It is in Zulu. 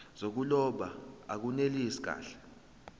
zokuloba akunelisi kahle